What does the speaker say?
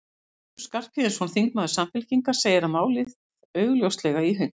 Össur Skarphéðinsson, þingmaður Samfylkingar, segir málið augljóslega í hönk.